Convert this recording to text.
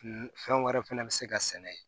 Fɛn wɛrɛ fɛnɛ bɛ se ka sɛnɛ yen